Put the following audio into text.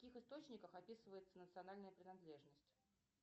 в каких источниках описывается национальная принадлежность